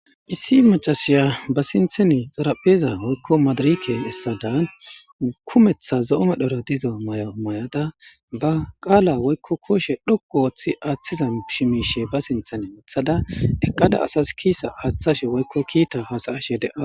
issi macasiya ba sintheni xarapheeza woykko maadariken essadan kumetha zo7ome dhoro dizo mayo may7ada ba qaala woykko kooshe dhoqu wooththi aaththiza shimiishe ba sinthene uthada eqqada asas kiisa aaththashe woykko kiita hasayashe de7a